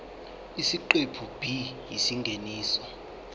isiqephu b isingeniso